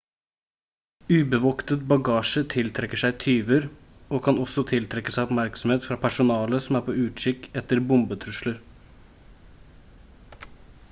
ubevoktet bagasje tiltrekker seg tyver og kan også tiltrekke seg oppmerksomhet fra personale som er på utkikk etter bombetrusler